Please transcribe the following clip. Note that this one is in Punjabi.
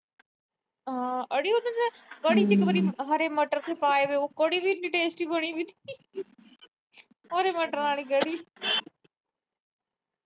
ਅੜੀ ਉਸਹੇ ਚ ਕੜੀ ਚ ਇਕ ਵਾਰੀ ਹਰੇ ਮਟਰ ਸੀ ਪਾਏ ਹੋਏ, ਉਹ ਕੜੀ ਇੰਨੀ tasty ਬਣੀ। ਹਰੇ ਮਟਰਾਂ ਆਲੀ ਕੜੀ।